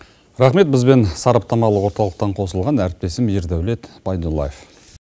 рақмет бізбен сараптамалық орталықтан қосылған әріптесім ердаулет байдуллаев